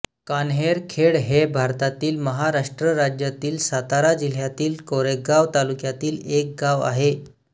कान्हेरखेड हे भारतातील महाराष्ट्र राज्यातील सातारा जिल्ह्यातील कोरेगाव तालुक्यातील एक गाव आहे